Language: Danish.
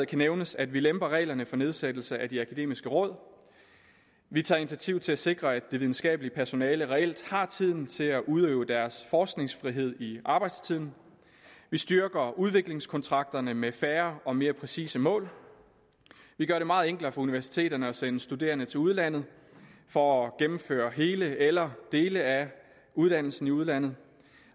kan nævnes at vi lemper reglerne for nedsættelse af de akademiske råd at vi tager initiativ til at sikre at det videnskabelige personale reelt har tiden til at udøve deres forskningsfrihed i arbejdstiden at vi styrker udviklingskontrakterne med færre og mere præcise mål at vi gør det meget enklere for universiteterne at sende studerende til udlandet for at gennemføre hele eller dele af uddannelsen i udlandet